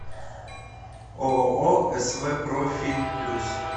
ооо св профи плюс